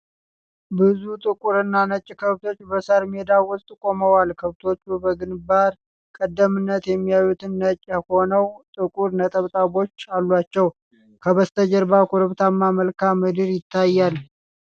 ብዙ ጥቁርና ነጭ ከብቶች በሳር ሜዳ ውስጥ ቆመዋል። ከብቶቹ በግንባር ቀደምትነት የሚታዩት ነጭ ሆነው ጥቁር ነጠብጣቦች አሏቸው። ከበስተጀርባ ኮረብታማ መልክዓ ምድር ይታያል።